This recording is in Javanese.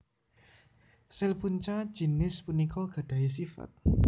Sel punca jinis punika gadahi sifat